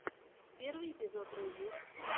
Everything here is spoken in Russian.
первый эпизод рыжей